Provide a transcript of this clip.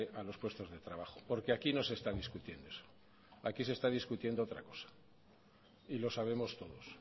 a los puestos de trabajo porque aquí no se está discutiendo eso aquí se están discutiendo otra cosa y lo sabemos todos